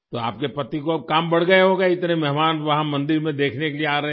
तो आपके पति को अब काम बढ़ गया होगा इतने मेहमान वहाँ मंदिर में देखने के लिए आ रहे हैं